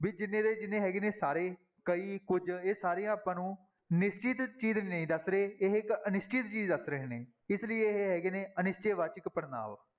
ਵੀ ਜਿੰਨੇ ਦੇ ਜਿੰਨੇ ਹੈਗੇ ਨੇ ਸਾਰੇ, ਕਈ, ਕੁੱਝ ਇਹ ਸਾਰੇ ਆਪਾਂ ਨੂੰ ਨਿਸ਼ਚਿਤ ਚੀਜ਼ ਨਹੀਂ ਦੱਸ ਰਹੇ, ਇਹ ਇੱਕ ਅਨਿਸ਼ਚਿਤ ਚੀਜ਼ ਦੱਸ ਰਹੇ ਨੇ, ਇਸ ਲਈ ਇਹ ਹੈਗੇ ਨੇ ਅਨਿਸ਼ਚੈ ਵਾਚਕ ਪੜ੍ਹਨਾਂਵ।